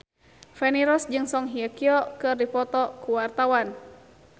Feni Rose jeung Song Hye Kyo keur dipoto ku wartawan